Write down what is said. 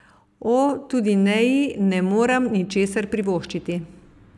O, tudi Neji ne moram ničesar privoščiti.